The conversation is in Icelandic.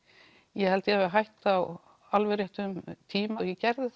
ég held ég hafi hætt á alveg réttum tíma og ég gerði